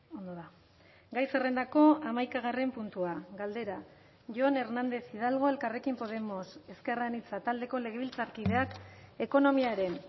ondo da gai zerrendako hamaikagarren puntua galdera jon hernández hidalgo elkarrekin podemos ezker anitza taldeko legebiltzarkideak ekonomiaren